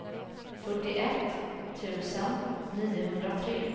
fyrtioett tusen niohundratre